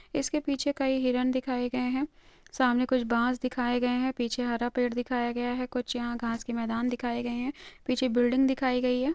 इसके पीछे कई हिरण दिखाए गए है सामने कुछ बास दिखाए गए है पीछे हरा पेड़ दिखाया गया है कुछ यहा घास के देमान दिखाए गए है पीछे बिल्डिंग दिखाई गई है।